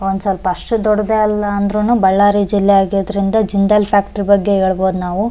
ಒಂದ್ ಸ್ವಲ್ಪ ಅಷ್ಟ್ ದೊಡ್ಡದಲ್ಲ ಅಂದ್ರೂನು ಬಳ್ಳಾರಿ ಜಿಲ್ಲೆ ಆಗಿದ್ರಿಂದ ಜಿಂದಾಲ್ ಫ್ಯಾಕ್ಟರಿ ಬಗ್ಗೆ ಹೇಳ್ಬಹುದು ನಾವು.